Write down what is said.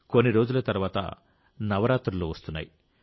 కొన్ని రోజుల తర్వాత నవరాత్రులు వస్తున్నాయి